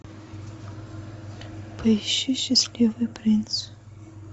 поищи счастливый принц